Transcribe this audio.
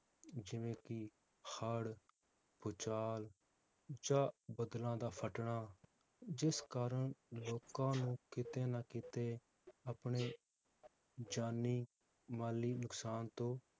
ਜਿਵੇ ਕਿ ਹੜ੍ਹ, ਭੁਚਾਲ ਜਾਂ ਬਦਲਾਂ ਦਾ ਫੱਟਣਾ, ਜਿਸ ਕਾਰਣ ਲੋਕਾਂ ਨੂੰ ਕਿਤੇ ਨਾ ਕਿਤੇ ਆਪਣੇ ਜਾਨੀ ਮਾਲੀ ਨੁਕਸਾਨ ਤੋਂ